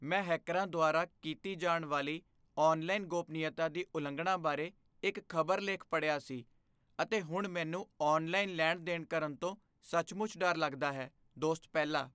ਮੈਂ ਹੈਕਰਾਂ ਦੁਆਰਾ ਕੀਤੀ ਜਾਣ ਵਾਲੀ ਔਨਲਾਈਨ ਗੋਪਨੀਯਤਾ ਦੀ ਉਲੰਘਣਾ ਬਾਰੇ ਇੱਕ ਖ਼ਬਰ ਲੇਖ ਪੜ੍ਹਿਆ ਸੀ, ਅਤੇ ਹੁਣ ਮੈਨੂੰ ਔਨਲਾਈਨ ਲੈਣ ਦੇਣ ਕਰਨ ਤੋਂ ਸੱਚਮੁੱਚ ਡਰ ਲੱਗਦਾ ਹੈ ਦੋਸਤ ਪਹਿਲਾ